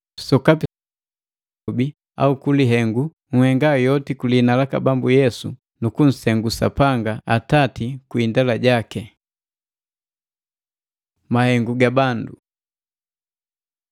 Sokapi senhenga ku lilobi au ku lihengu, nhenga yoti ku lihina laka Bambu Yesu nu kunsengu Sapanga Atati kwii indela jaki. Mahengu ga bandu